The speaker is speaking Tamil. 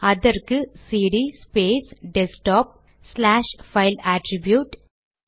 அதற்கு CD space desktop slash file attribute